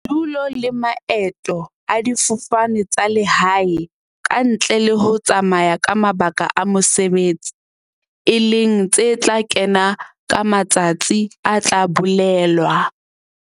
Bodulo le maeto a difofane tsa lehae, kantle le ho tsamaya ka mabaka a mo-sebetsi, e leng tse tla kena ka matsatsi a tla bolelwa.